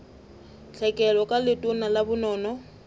tlhekelo ka letona la bonono